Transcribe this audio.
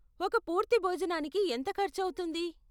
ఒక పూర్తి భోజనానికి ఎంత ఖర్చు అవుతుంది?